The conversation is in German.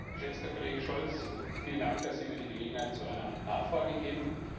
Geschätzter Kollege Scholz! Vielen Dank, dass Sie mir die Gelegenheit zu einer Nachfrage geben.